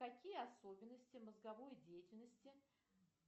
какие особенности мозговой деятельности